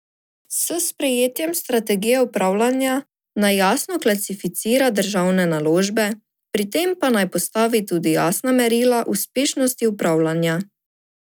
S sprejetjem strategije upravljanja naj jasno klasificira državne naložbe, pri tem pa naj postavi tudi jasna merila uspešnosti upravljanja.